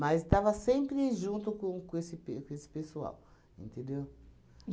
estava sempre junto com com esse pe com esse pessoal, entendeu?